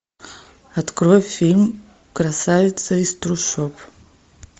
открой фильм красавица из трущоб